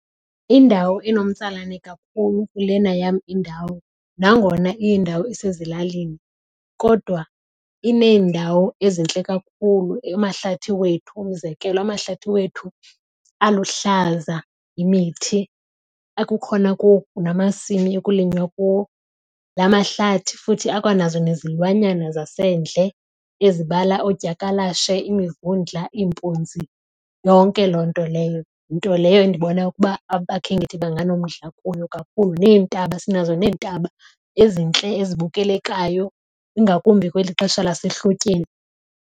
Indawo enomtsalane kakhulu kulena yam indawo nangona iyindawo esezilalini kodwa iinendawo ezintle kakhulu amahlathi wethu umzekelo. Amahlathi wethu aluhlaza imithi ekukhona kuwo namasimi ekulinywa kuwo. La mahlathi futhi akwanazo nezilwanyana zasendle ezibala oodyakalashe, imivundla, impunzi, yonke loo nto leyo. Nto leyo endibona ukuba abakhenkethi banganomdla kuyo kakhulu. Neentaba sinazo neentaba ezintle ezibukelekayo ingakumbi kweli xesha lasehlotyeni.